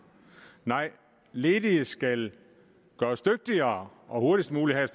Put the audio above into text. nej ledige skal gøres dygtigere og hurtigst muligt have